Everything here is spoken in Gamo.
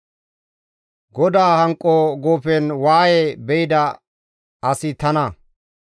Godaa hanqo guufen waaye be7ida asi tana.